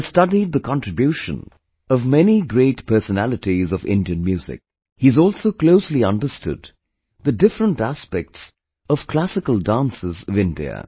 He has studied the contribution of many great personalities of Indian music; he has also closely understood the different aspects of classical dances of India